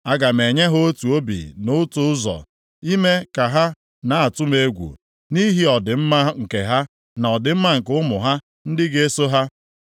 Aga m enye ha otu obi na otu ụzọ, ime ka ha na-atụ egwu m, nʼihi ọdịmma nke ha, na ọdịmma nke ụmụ ha ndị ga-eso ha.